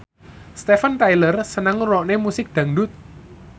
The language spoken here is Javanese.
Steven Tyler seneng ngrungokne musik dangdut